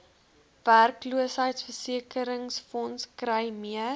werkloosheidsversekeringsfonds kry meer